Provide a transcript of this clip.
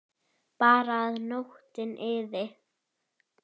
Bara að nóttin liði.